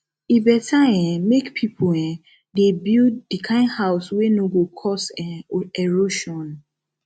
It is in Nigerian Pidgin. e beta um make pipo um dey build di kind house wey no go cause um erosion